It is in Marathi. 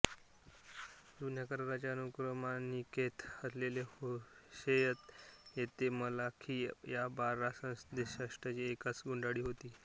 जुन्या कराराच्या अनुक्रमणिकेत असलेले होशेय ते मलाखी या बारा संदेष्ट्यांची एकच गुंडाळी होती